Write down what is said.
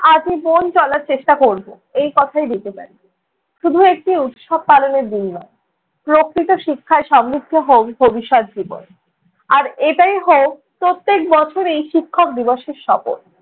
আজীবন চলার চেষ্টা করবো, এই কথাই দিতে পারি। শুধু একটি উৎসব পালনের দিন নয়, প্রকৃত শিক্ষায় সমৃদ্ধ হোক ভবিষ্যত জীবন। আর এটাই হোক প্রত্যেক বছরেই শিক্ষক দিবসের শপথ।